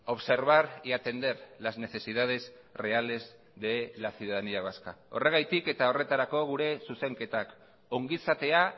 observar y atender las necesidades reales de la ciudadanía vasca horregatik eta horretarako gure zuzenketak ongizatea